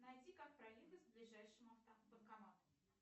найти как проехать к ближайшему банкомату